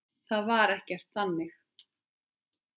Það var ekkert þannig.